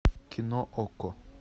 кино окко